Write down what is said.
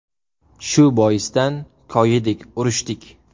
Shu boisdan koyidik, urishdik.